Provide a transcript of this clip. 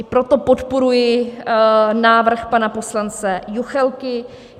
I proto podporuji návrh pana poslance Juchelky.